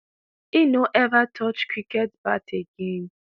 e no ever touch cricket bat again.